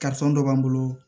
dɔ b'an bolo